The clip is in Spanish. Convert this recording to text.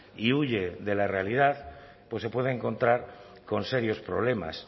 y huye de la realidad pues se puede encontrar con serios problemas